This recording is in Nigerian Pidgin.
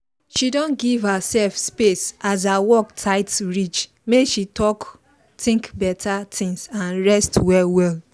she don give herself space as her work tight reach make she talk think better things and rest well well